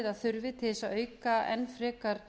að þurfi til að auka enn frekar